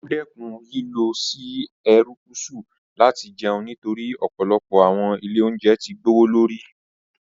Ó dẹ́kun lílọ si Erékùsù láti jẹun nítorí ọ̀pọ̀lọpọ̀ àwọn ilé oúnjẹ ti gbowó lórí